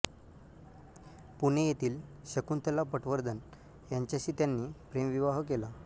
पुणे येथील शकुंतला पटवर्धन यांच्याशी त्यांनी प्रेमविवाह केला